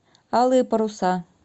алые паруса